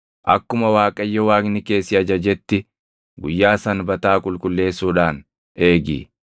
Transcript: Akkuma Waaqayyo Waaqni kee si ajajetti guyyaa Sanbataa qulqulleessuudhaan eegi.